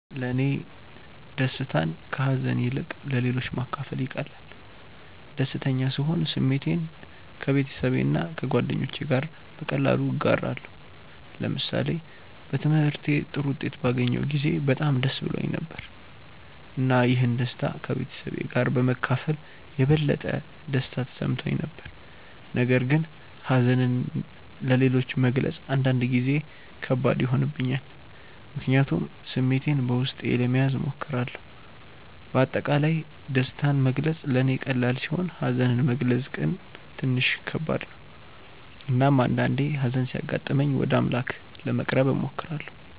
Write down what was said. ለእኔ ደስታን ከሀዘን ይልቅ ለሌሎች ማካፈል ይቀላል። ደስተኛ ስሆን ስሜቴን ከቤተሰብና ከጓደኞቼ ጋር በቀላሉ እጋራለሁ። ለምሳሌ በትምህርቴ ጥሩ ውጤት ባገኘሁ ጊዜ በጣም ደስ ብሎኝ ነበር፣ እና ይህን ደስታ ከቤተሰቤ ጋር በመካፈል የበለጠ ደስታ ተሰምቶኝ ነበር። ነገር ግን ሀዘንን ለሌሎች መግለጽ አንዳንድ ጊዜ ከባድ ይሆንብኛል፣ ምክንያቱም ስሜቴን በውስጤ ለመያዝ እሞክራለሁ። በአጠቃላይ ደስታን መግለጽ ለእኔ ቀላል ሲሆን ሀዘንን መግለጽ ግን ትንሽ ከባድ ነው። እናም አንዳአንዴ ሀዘን ሲያጋጥመኝ ወደ አምላክ ለመቅረብ እሞክራለሁ።